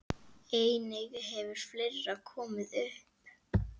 Einnig hefur fleira komið upp.